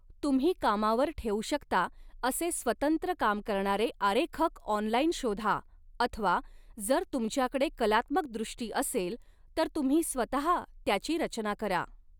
तुम्ही कामावर ठेवू शकता असे स्वतंत्र काम करणारे आरेखक ऑनलाईन शोधा अथवा जर तुमच्याकडे कलात्मक दृष्टी असेल तर तुम्ही स्वतः त्याची रचना करा.